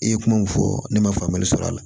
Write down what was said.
I ye kuma mun fɔ ne ma faamuyali sɔrɔ a la